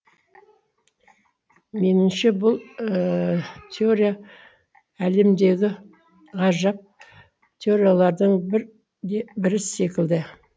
меніңше бұл теория әлемдегі ғажап теориялардың бірі секілді